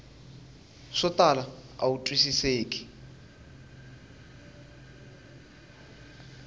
swo tala a wu twisiseki